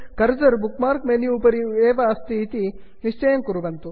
cursor इत्येतत् bookmark menu इत्यस्य उपरि एव विद्यते इति निश्चयं कुर्वन्तु